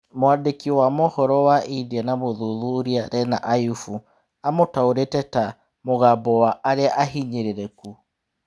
Mwandĩki wa mohoro wa India na mũthuthuria Rena Ayubu amũtaũrĩte ta " mugambo wa arĩa ahinyĩrĩrĩku".